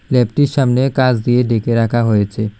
ল্যাবটির সামনে কাচ দিয়ে ঢেকে রাখা হয়েছে।